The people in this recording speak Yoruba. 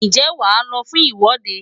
Ǹjẹ́ wàá lọ fún ìwọ́de?